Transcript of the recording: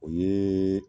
O ye